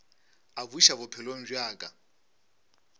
a buša bophelong bja ka